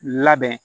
Labɛn